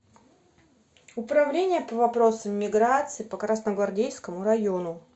управления по вопросам миграции по красногвардейскому району